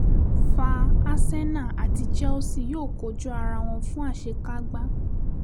fa arsenal àti chelsea yóò kojú ara wọn fún àṣekágbá